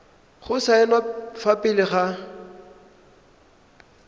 go saenwa fa pele ga